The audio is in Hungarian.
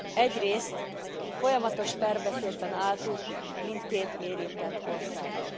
Egyrészt folyamatos párbeszédben álltunk mindkét érintett országgal.